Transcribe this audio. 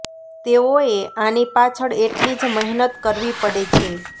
તેઓએ આની પાછળ એટલી જ મહેનત કરવી પડે છે